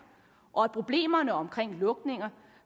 og at problemerne omkring lukninger